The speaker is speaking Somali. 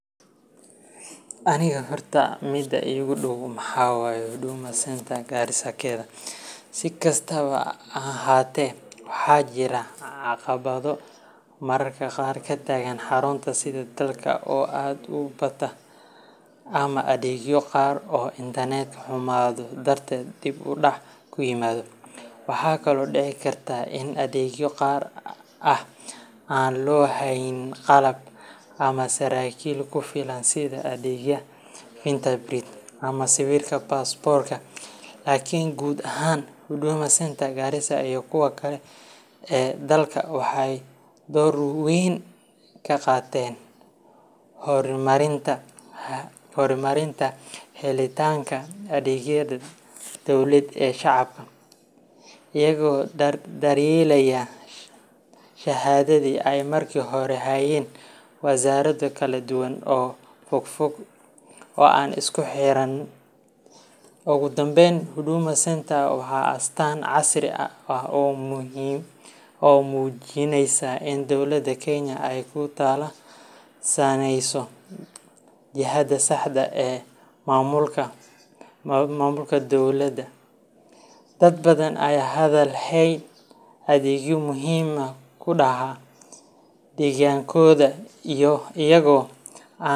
Aniga horta mida igu dhow maxa waye Huduma centre Gariisa keda, Si kastaba ha ahaatee, waxaa jira caqabado mararka qaar ka taagan xarunta sida dadka oo aad u bata ama adeegyo qaar oo Internetka xumaado darteed dib u dhac ku yimaado. Waxaa kaloo dhici karta in adeegyo gaar ah aan loo hayn qalab ama saraakiil ku filan sida adeega fingerprint ama sawirka baasaboorka. Laakiin guud ahaan, Huduma Centre Garissa iyo kuwa kale ee dalka waxay door weyn ka qaateen horumarinta helitaanka adeegyada dawladeed ee shacabka, iyagoo dardargeliyay shaqadii ay markii hore hayeen wasaarado kala duwan oo fogfog oo aan isku xiranayn. Ugu dambeyn, Huduma Centre waa astaan casri ah oo muujinaysa in dowladda Kenya ay ku tallaabsaneyso jihada saxda ah ee maamulka dadweynaha. Dad badan ayaa hadda helaya adeegyo muhiim ah gudaha deegaankooda, iyagoo aan.